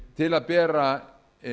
til að bera